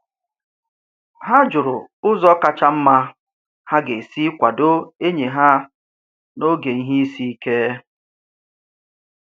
Ha jụrụ ụzọ kacha mma ha ga-esi kwado enyi ha n'oge ihe isi ike.